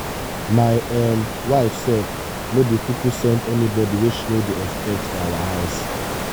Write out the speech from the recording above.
my um wife self no dey kuku send anybody wey she no dey expect for our house.